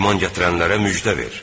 İman gətirənlərə müjdə ver.